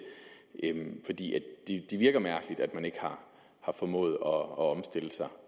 virker mærkeligt at man ikke har formået at omstille sig